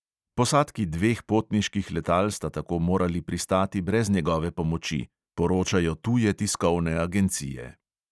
"Posadki dveh potniških letal sta tako morali pristati brez njegove pomoči," poročajo tuje tiskovne agencije.